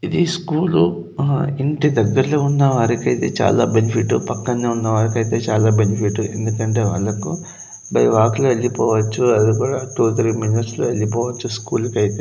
ఇది స్కూల్ లో ఆహ ఇంటి దగ్గరలో ఉన్నవారికైతే చాల బెనిఫిట్ పక్కనే ఉన్నవారికైతే చాల బెనిఫిట్ ఎందుకంటే వాళ్ళకు బై వాక్ లో వెల్లిపోవచ్చు అది కూడా టూ త్రీ మినేట్స్ లో వెళ్లిపోవచ్చు స్కూల్ కైతే.